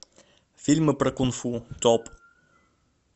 фильмы про кунг фу топ